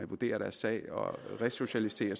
vurderet deres sag og resocialiserer